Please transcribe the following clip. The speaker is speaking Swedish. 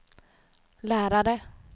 lärare